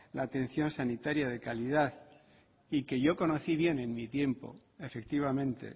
la atención sanitaria de calidad y que yo conocí bien en mi tiempo efectivamente